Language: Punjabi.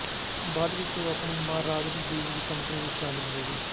ਬਾਅਦ ਵਿਚ ਉਹ ਆਪਣੀ ਮਾਂ ਰਾਗਿਨੀ ਦੇਵੀ ਦੀ ਕੰਪਨੀ ਵਿੱਚ ਸ਼ਾਮਲ ਹੋ ਗਈ